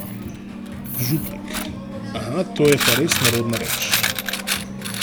Župnik: 'Aha, to je pa res nerodna reč.